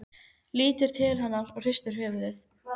Lítur til hennar og hristir höfuðið.